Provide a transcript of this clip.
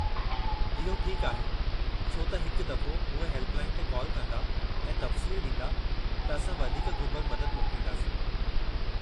इहो ठीकु आहे छो त हिकु दफ़ो उहे हेल्प लाइन ते काल कंदा ऐं तफ़सील ॾींदा, त असां वधीक घुरिबल मदद मोकिलींदासीं।